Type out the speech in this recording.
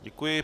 Děkuji.